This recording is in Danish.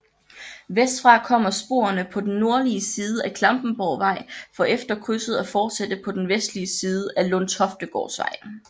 Vestfra kommer sporene på den nordlige side af Klampenborgvej for efter krydset at fortsætte på den vestlige side af Lundtoftegårdsvej